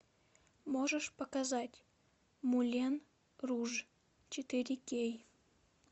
можешь показать мулен руж четыре кей